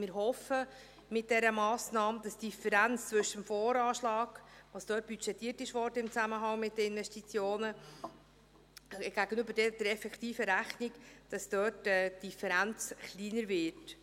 Wir hoffen, dass durch diese Massnahme die Differenz zwischen dem VA, also dem, was dort im Zusammenhang mit den Investitionen budgetiert worden ist, gegenüber der effektiven Rechnung kleiner wird.